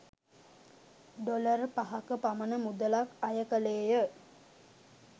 Dollar පහක පමණ මුදලක් අය කෙළේය.